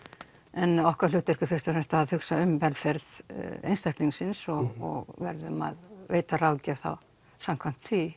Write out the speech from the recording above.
en okkar hlutverk er fyrst og fremst að hugsa um velferð einstaklingsins og verðum að veita ráðgjöf þá samkvæmt því